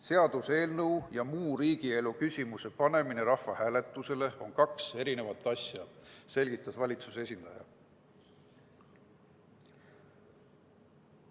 Seaduseelnõu ja muu riigielu küsimuse panemine rahvahääletusele on kaks eri asja, selgitas valitsuse esindaja.